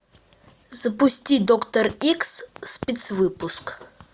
запусти доктор икс спецвыпуск